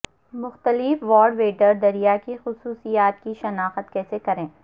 مختلف white water دریا کی خصوصیات کی شناخت کیسے کریں